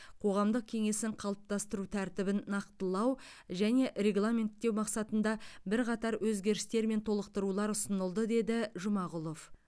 қоғамдық кеңесін қалыптастыру тәртібін нақтылау және регламенттеу мақсатында бірқатар өзгерістер мен толықтырулар ұсынылды деді жұмағұлов